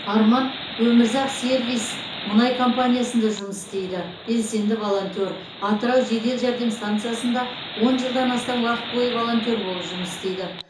арман өмірзақ сервис мұнай компаниясында жұмыс істейді белсенді волонтер атырау жедел жәрдем стансасында он жылдан астам уақыт бойы волонтер болып жұмыс істейді